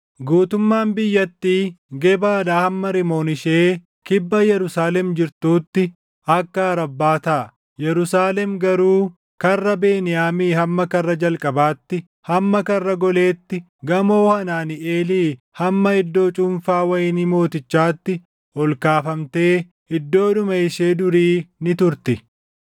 Guutummaan biyyattii Gebaadhaa hamma Rimoon ishee kibba Yerusaalem jirtuutti akka Arabbaa taʼa. Yerusaalem garuu Karra Beniyaamii hamma Karra Jalqabaatti, hamma Karra Goleetti, Gamoo Hanaaniʼeelii hamma iddoo cuunfaa wayinii mootichaatti ol kaafamtee iddoodhuma ishee durii ni turti.